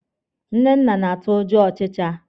Nnenna na-atụ ụjọ ọchịcha.